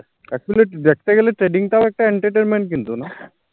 actually দেখতে গেলে trading তঔ একটা entertainment কিন্তু না